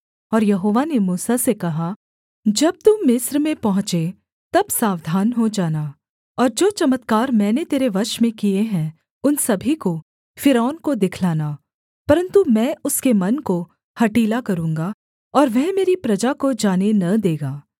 और यहोवा ने मूसा से कहा जब तू मिस्र में पहुँचे तब सावधान हो जाना और जो चमत्कार मैंने तेरे वश में किए हैं उन सभी को फ़िरौन को दिखलाना परन्तु मैं उसके मन को हठीला करूँगा और वह मेरी प्रजा को जाने न देगा